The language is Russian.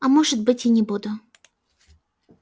а может быть и не буду